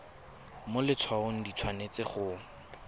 mo letshwaong di tshwanetse go